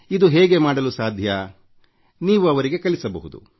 ಇದು ಹೇಗೆ ಮಾಡಲು ಸಾಧ್ಯ ನೀವು ಅವರಿಗೆ ಕಲಿಸಬಹುದು